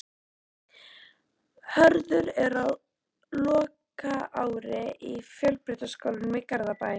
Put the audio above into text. Hörður er á lokaári í Fjölbrautaskólanum í Garðabæ.